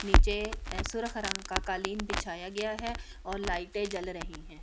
नीचे सुरख रंग का कालीन बिछाया गया है और लाइटें जल रही हैं।